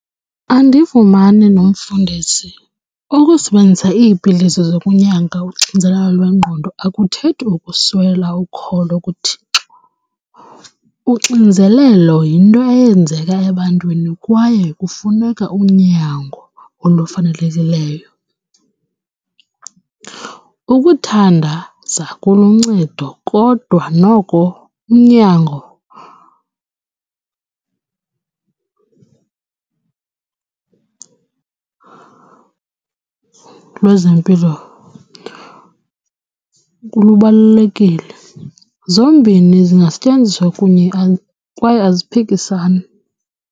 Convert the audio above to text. Andivumani nomfundisi. Ukusebenzisa iipilisi zokunyanga uxinzelelo lwengqondo akuthethi ukuswela ukholo kuThixo. Uxinzelelo yinto eyenzeka ebantwini kwaye kufuneka unyango olufanelekileyo. Ukuthandaza kuluncedo kodwa noko unyango lwezempilo lubalulekile. Zombini zingasetyenziswa kunye kwaye aziphikisani.